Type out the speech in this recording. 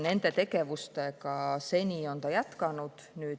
Nende tegevustega on liit seni jätkanud.